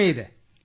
ಹೇಳಿ|